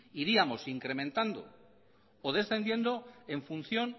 iríamos incrementando o descendiendo en función